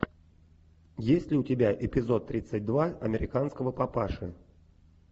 есть ли у тебя эпизод тридцать два американского папаши